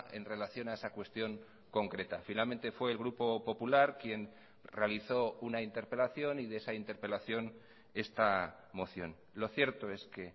en relación a esa cuestión concreta finalmente fue el grupo popular quien realizó una interpelación y de esa interpelación esta moción lo cierto es que